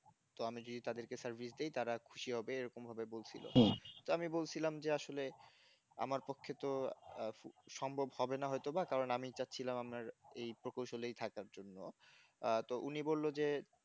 তো আমি যদি তাদেরকে service দিই তারা খুশি হবে এরকম ভাবে বলছিল তো আমি বলছিলাম যে আসলে আমার পক্ষে তো সম্ভব হবে না হয়তো বা কারণ আমি চাচ্ছিলাম আমার এই প্রকৌশলই থাকার জন্য আহ তো উনি বলল যে